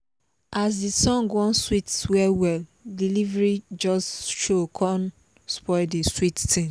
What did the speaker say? as the song wan sweet well well delivery just show kon spoil the sweet thing